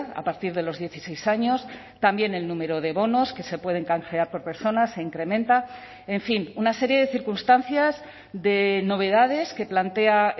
a partir de los dieciséis años también el número de bonos que se pueden canjear por personas se incrementa en fin una serie de circunstancias de novedades que plantea